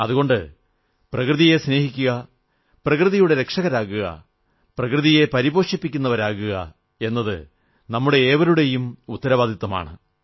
അതുകൊണ്ട് പ്രകൃതിയെ സ്നേഹിക്കുക പ്രകൃതിയുടെ രക്ഷകരാകുക പ്രകൃതിയെ പോഷിപ്പിക്കുന്നവരാകുക എന്നത് നമ്മുടെ ഏവരുടെയും ഉത്തരവാദിത്തമാണ്